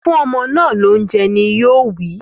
Fún ọmọ náà lóúnjẹ! Yoowí.